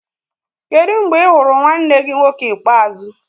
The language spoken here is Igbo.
Kedụ mgbe ị hụrụ nwanne gị nwoke ikpeazụ?